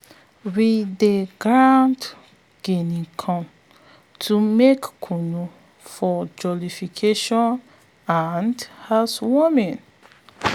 we dey grind guinea corn to make kunu for jollification and housewarming